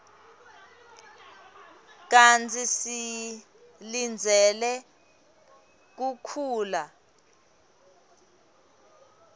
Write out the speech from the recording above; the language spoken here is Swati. kantsi silindzele kukhula